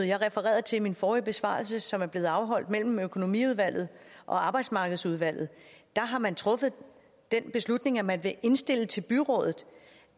jeg refererede til i min forrige besvarelse og som er blevet afholdt mellem økonomiudvalget og arbejdsmarkedsudvalget har man truffet den beslutning at man vil indstille til byrådet